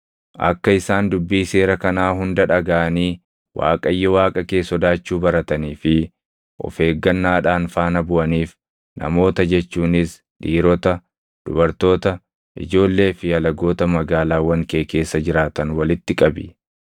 Akka isaan dubbii seera kanaa hunda dhagaʼanii Waaqayyo Waaqa kee sodaachuu baratanii fi of eeggannaadhaan faana buʼaniif namoota jechuunis dhiirota, dubartoota, ijoollee fi alagoota magaalaawwan kee keessa jiraatan walitti qabi.